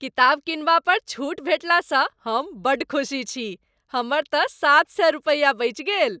किताब किनबा पर छूट भेटलासँ हम बड़ खुसी छी। हमर तँ सात सय रुपया बचि गेल।